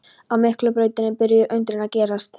Á Miklubrautinni byrjuðu undrin að gerast.